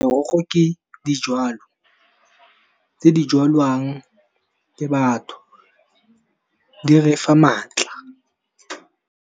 Merogo ke di jalo, tse di jwalwang ke batho di re fa maatla.